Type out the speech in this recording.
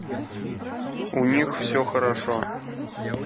у них все хорошо